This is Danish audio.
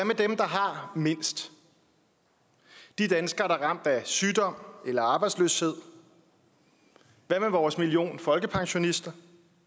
har mindst de danskere der er ramt af sygdom eller arbejdsløshed hvad med vores million af folkepensionister